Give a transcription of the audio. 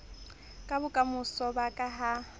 ka bokamoso ba ka ha